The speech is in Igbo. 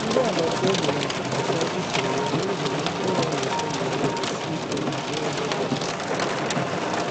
Ndị agbata obi na-atụkwasị usoro ya n’ihi na mkpụrụ ya na-eto mgbe niile sie ike ma bụrụ ndị dị mma.